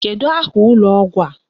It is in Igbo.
Kedụ aha ụlọ ọgwụ a?